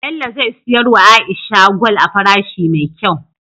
Bello ze siyar wa aisha gwal a farashi me kyau